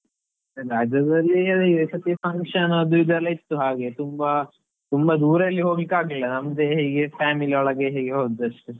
ರಜಾದಲ್ಲಿ function ಅದು ಇದು ಎಲ್ಲಾ ಇತ್ತು ಹಾಗೆ, ತುಂಬಾ ತುಂಬಾ ದೂರೆಲ್ಲಿ ಹೋಗ್ಲಿಕ್ಕೆ ಆಗ್ಲಿಲ್ಲ ನಮ್ದೇ ಹೀಗೆ family ಒಳಗೆ ಹೀಗೆ ಹೊದ್ದು ಅಷ್ಟೇ.